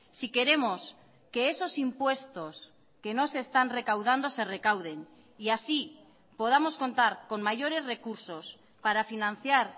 si queremos que esos impuestos que no se están recaudando se recauden y así podamos contar con mayores recursos para financiar